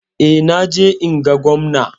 Eh, na je in ga Gwamna.